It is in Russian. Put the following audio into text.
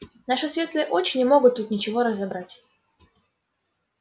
наши светлые очи не могут тут ничего разобрать